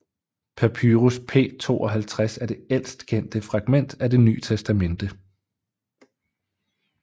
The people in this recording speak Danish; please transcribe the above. Papyrus P52 er det ældst kendte fragment af Det Ny Testamente